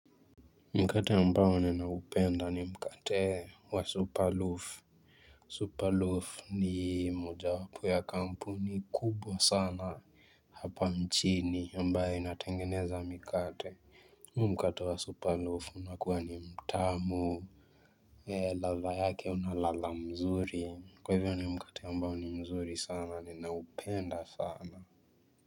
Mkate ambao ninaupenda ni mkate wa superloof Superloaf ni moja wapo ya kampuni kubwa sana hapa mjini ambayo inatengeneza mikate Mkate wa superloaf unakuwa ni mtamu ladha yake unaladha mzuri kwa hivyo ni mkate mbao ni mzuri sana ni naupenda sana.